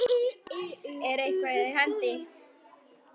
Er eitthvað í hendi?